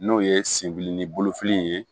N'o ye senbili ni bolofili ye